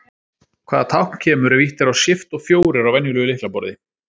Hvaða tákn kemur ef ýtt er á Shift og fjórir á venjulegu lyklaborði?